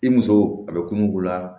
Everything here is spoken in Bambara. I muso a bɛ kununna